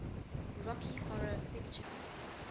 rocky horror picture